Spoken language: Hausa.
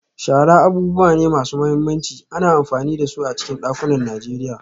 Shara abubuwa ne masu mahimmanci, ana amfani da su a cikin dakunan Najeriya.